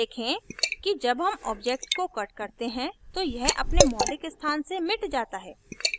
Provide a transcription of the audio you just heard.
देखें कि जब हम object को cut करते हैं तो यह अपने मौलिक स्थान से मिट जाता है